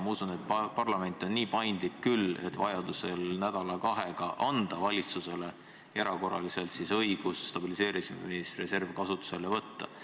Ma usun, et parlament on nii paindlik küll, et vajadusel anda valitsusele nädala või kahega erakorraliselt õigus stabiliseerimisreserv kasutusele võtta.